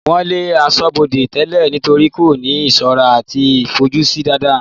wọ́n lé asọ́bọdè tẹ́lẹ̀ nítorí kò ní ìsọ́ra àti ìfojúsí dáadáa